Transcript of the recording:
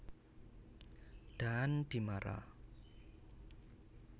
Daan Dimara